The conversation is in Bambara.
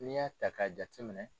N'i y'a ta k'a jateminɛ